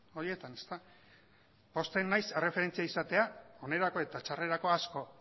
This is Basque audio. horietan pozten naiz erreferentzia izatea onerako eta txarrerako asko